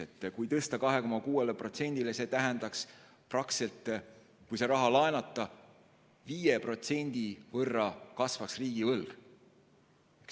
Kui suurendada kulutusi 2,6%-ni, tähendaks see praktiliselt seda, et kui see raha laenata, kasvaks riigivõlg 5%.